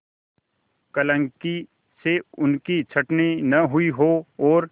क्लर्की से उनकी छँटनी न हुई हो और